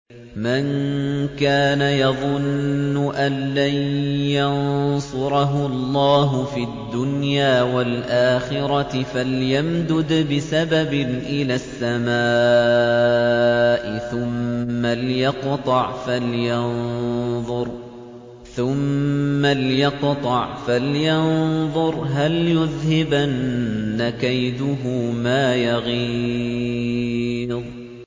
مَن كَانَ يَظُنُّ أَن لَّن يَنصُرَهُ اللَّهُ فِي الدُّنْيَا وَالْآخِرَةِ فَلْيَمْدُدْ بِسَبَبٍ إِلَى السَّمَاءِ ثُمَّ لْيَقْطَعْ فَلْيَنظُرْ هَلْ يُذْهِبَنَّ كَيْدُهُ مَا يَغِيظُ